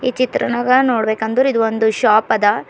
ಈ ಚಿತ್ರನಾಗ ನೋಡಬೆಕಂದ್ರೆ ಇದು ಒಂದು ಶಾಪ್ ಅದ.